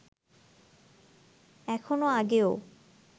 এখনও আগেও